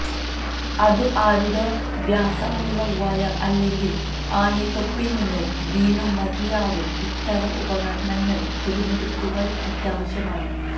അതു ആരുടെ വ്യാസമുള്ള വയർ അല്ലെങ്കിൽ ആണി തൊപ്പി നിന്നു വീണു മതിയാവും ഇത്തരം ഉപകരണങ്ങൾ തിരഞ്ഞെടുക്കുക അത്യാവശ്യമാണ്